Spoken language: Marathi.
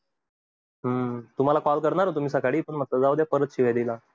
हम्म तुम्हाला call करणार तुम्ही सकाळी जाऊ द्या परत शिव्या दिला.